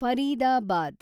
Faridabad